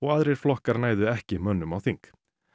aðrir flokkar næðu ekki mönnum á þing